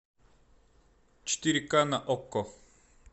четыре ка на окко